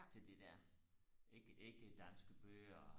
til det der ikke ikke danske bøger